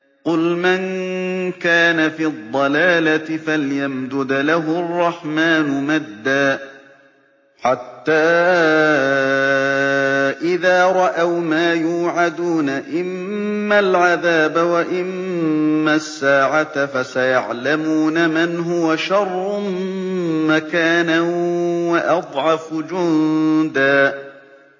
قُلْ مَن كَانَ فِي الضَّلَالَةِ فَلْيَمْدُدْ لَهُ الرَّحْمَٰنُ مَدًّا ۚ حَتَّىٰ إِذَا رَأَوْا مَا يُوعَدُونَ إِمَّا الْعَذَابَ وَإِمَّا السَّاعَةَ فَسَيَعْلَمُونَ مَنْ هُوَ شَرٌّ مَّكَانًا وَأَضْعَفُ جُندًا